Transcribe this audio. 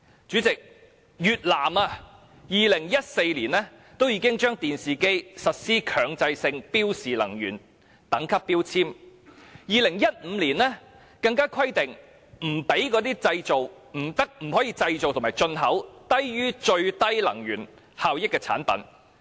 主席，越南已於2014年對電視機實施強制性標示能源等級標籤，到了2015年更規定不可以製造及進口低於最低能源效益的產品。